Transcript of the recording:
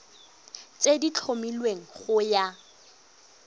tse di tlhomilweng go ya